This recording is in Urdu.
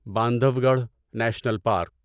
Bandhavgarh national park